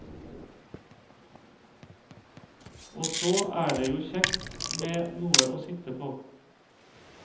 Og så er det jo kjekt med noe å sitte på.